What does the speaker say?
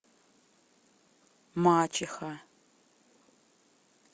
мачеха